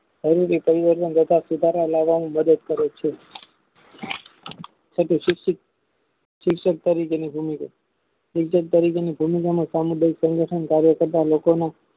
જરૂરી સંગઠન કરતા સુધારા લેવાની મદદ કરે છે તેથી શિક્ષક તરીકેની જમીન અને સામુદાયિક સંગઠન કાર્ય તેમાં